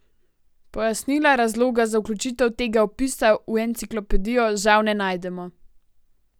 Pojasnila razloga za vključitev tega opisa v enciklopedijo žal ne najdemo.